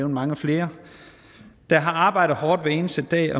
mange flere der har arbejdet hårdt hver eneste dag